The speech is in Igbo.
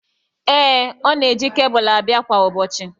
Ee, ọ na-eji kebụlụ abịa kwa ụbọchị.